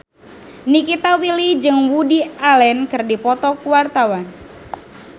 Nikita Willy jeung Woody Allen keur dipoto ku wartawan